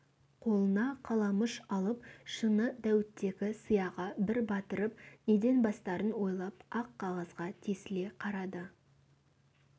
қолына қаламұш алып шыны дәуіттегі сияға бір батырып неден бастарын ойлап ақ қағазға тесіле қарады